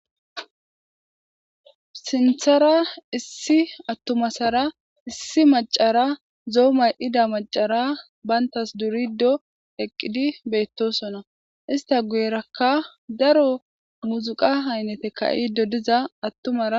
Sinththara issi atuma asar issi macara zo'o mayida macara bantas durido eqidi betosona ista guyerakka daro miziqa ayinate ka'iza atumara